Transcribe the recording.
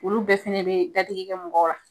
Olu bɛɛ fɛnɛ be dadigi kɛ mɔgɔw la.